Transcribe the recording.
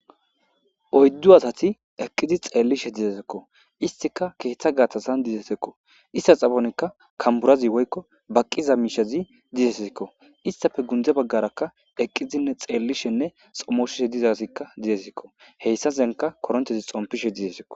Oyddu asati eqqizi xeellishe dizesekko istika keeththa gaatasan dizesekko ista xaponikka kamburazi woykko baqqiza miishezi dizesikko istafe gundze baggarakka eqqizinne xeellishenne xommosheshe dizasikka dizesikko heyssa senka koronthezi xompishe dizesikko